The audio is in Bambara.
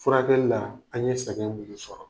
Furakɛli la an ye sɛgɛn minnu sɔrɔ.